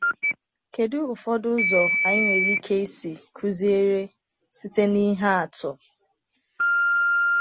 Kedu ụfọdụ ụzọ anyị nwere ike isi kụziere site n’ihe atụ?